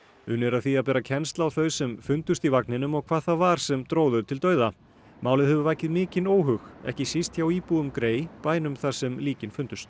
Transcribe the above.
unnið er að því að bera kennsl á þau sem fundust í vagninum og hvað það var sem dró þau til dauða málið hefur vakið mikinn óhug ekki síst hjá íbúum bænum þar sem líkin fundust